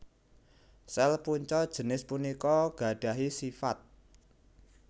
Sel punca jinis punika gadahi sifat